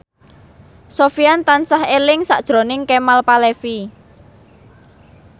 Sofyan tansah eling sakjroning Kemal Palevi